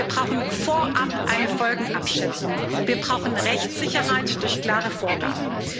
Wir brauchen vorab eine Folgenabschätzung, wir brauchen Rechtssicherheit durch klare Vorgaben.